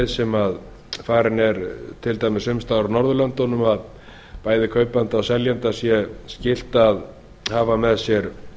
sem farin er til dæmis sums staðar á norðurlöndunum að bæði kaupanda og seljanda sé skylt að hafa með sér